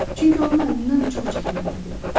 Çünki onun əlindən çox çəkməli olurdu.